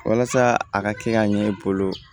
Walasa a ka kɛ ka ɲɛ e bolo